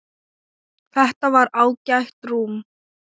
Þetta var ágætt rúm.